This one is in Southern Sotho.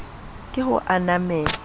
ke ho ananela le ho